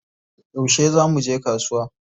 Yaushe za muje kasuwa?